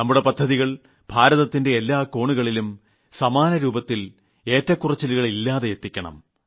നമ്മുടെ പദ്ധതികൾ ഭാരതത്തിന്റെ എല്ലാ കോണുകളിലും സമാനരൂപത്തിൽ ഏറ്റക്കുറച്ചിലുകൾ ഇല്ലാതെ എത്തിക്കണം